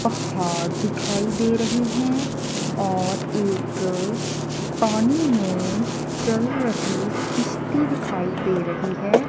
पहाड़ दिखाई दे रहे हैं और एक पानी में चल रही किश्ती दिखाई दे रही है।